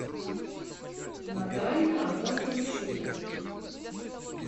наталья амоновна щукина